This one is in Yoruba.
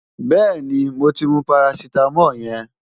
Bẹ́ẹ̀ni, mo ti mu parasítámọ̀ yẹn.